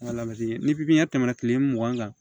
ni tɛmɛna kile mugan kan